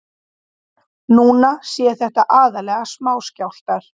Núna séu þetta aðallega smáskjálftar